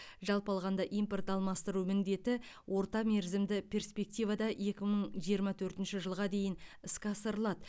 жалпы алғанда импорт алмастыру міндеті орта мерзімді перспективада екі мың жиырма төртінші жылға дейін іске асырылады